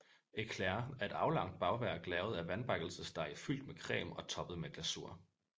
Éclair er et aflangt bagværk lavet af vandbakkelsesdej fyldt med creme og toppet med glasur